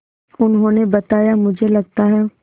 उन्होंने बताया मुझे लगता है